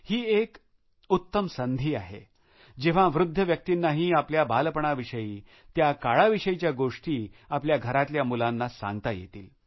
ही एक उत्तम संधी आहे जेव्हा वृध्द व्यक्तींनाही आपल्या बालपणाविषयी त्या काळाविषयीच्या गोष्टी आपल्या घरातल्या मुलांना सांगता येतील